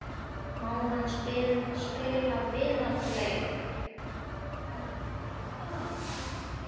Hverjar eru helstu áskoranirnar hér á landi?